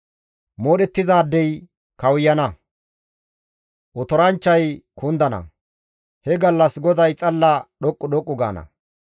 Moodhettizaadey kawuyana; otoranchchay kundana; he gallas GODAY xalla dhoqqu dhoqqu gaana;